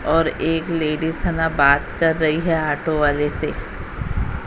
और एक लेडिस है ना बात कर रही है ऑटो वाले से--